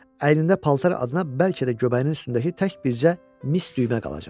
Əynində paltar adına bəlkə də göbəyinin üstündəki tək bircə mis düymə qalacaq.